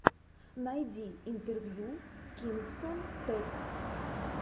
найди интервью кингстон тэк